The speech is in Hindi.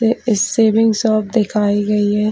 ये सेविंग सब दिखाई दे गई हैं।